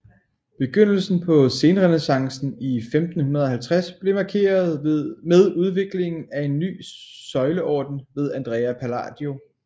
Begyndelsen på senrenæssancen i 1550 blev markeret med udviklingen af en ny søjleorden ved Andrea Palladio